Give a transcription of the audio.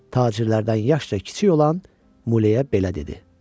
Tacirlərdən yaşca kiçik olan Muleyə belə dedi: